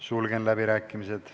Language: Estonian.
Sulgen läbirääkimised.